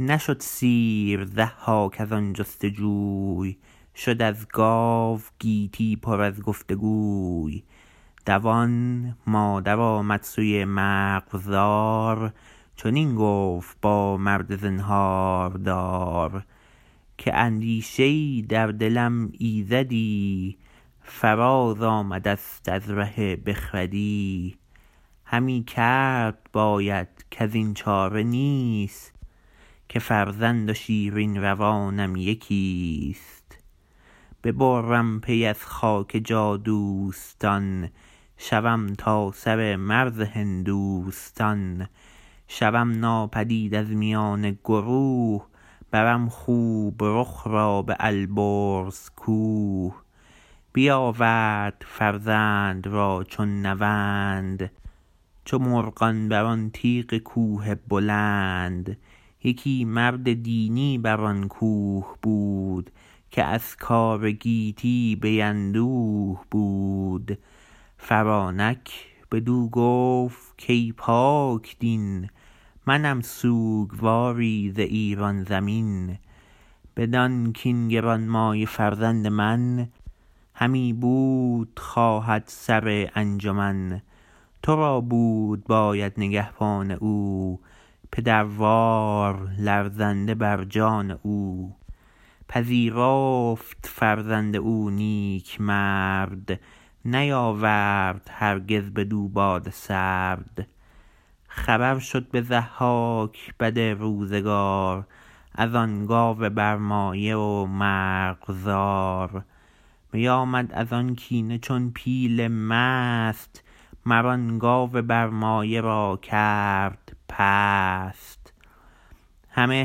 نشد سیر ضحاک از آن جست جوی شد از گاو گیتی پر از گفت گوی دوان مادر آمد سوی مرغزار چنین گفت با مرد زنهاردار که اندیشه ای در دلم ایزدی فراز آمده ست از ره بخردی همی کرد باید کزین چاره نیست که فرزند و شیرین روانم یکیست ببرم پی از خاک جادوستان شوم تا سر مرز هندوستان شوم ناپدید از میان گروه برم خوب رخ را به البرز کوه بیاورد فرزند را چون نوند چو مرغان بر آن تیغ کوه بلند یکی مرد دینی بر آن کوه بود که از کار گیتی بی اندوه بود فرانک بدو گفت کای پاکدین منم سوگواری ز ایران زمین بدان کاین گرانمایه فرزند من همی بود خواهد سر انجمن تو را بود باید نگهبان او پدروار لرزنده بر جان او پذیرفت فرزند او نیکمرد نیاورد هرگز بدو باد سرد خبر شد به ضحاک بدروزگار از آن گاو برمایه و مرغزار بیامد از آن کینه چون پیل مست مر آن گاو برمایه را کرد پست همه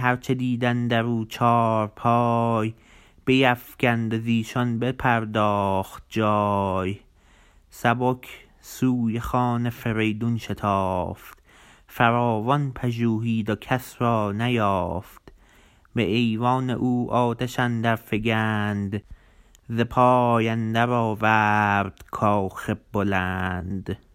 هر چه دید اندر او چارپای بیفگند و زیشان بپرداخت جای سبک سوی خان فریدون شتافت فراوان پژوهید و کس را نیافت به ایوان او آتش اندر فگند ز پای اندر آورد کاخ بلند